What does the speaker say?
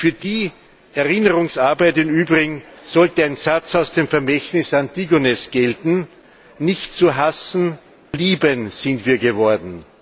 Für die Erinnerungsarbeit im Übrigen sollte ein Satz aus dem Vermächtnis Antigones gelten Nicht zu hassen, zu lieben sind wir geworden!